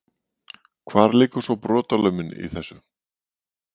Hvar liggur svona brotalömin í þessu?